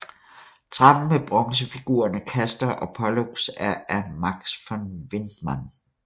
Trappen med bronzefigurerne Castor og Pollux er af Max von Widnmann